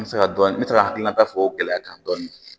N bɛ se ka dɔɔni n bɛ se ka hakilinata fɔ o gɛlɛya kan dɔɔni